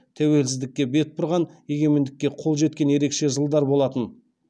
тәуелсіздікке бет бұрған егемендікке қол жеткен ерекше жылдар болатын